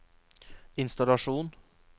innstallasjon